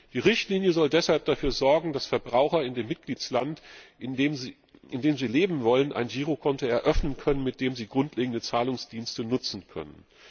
Die Richtlinie soll deshalb dafür sorgen, dass Verbraucher in dem Mitgliedstaat, in dem sie leben wollen, ein Girokonto eröffnen können, mit dem sie grundlegende Zahlungsdienste nutzen können.